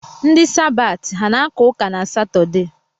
Ndi Sabaati, ha ana-aka ụka na Satọde?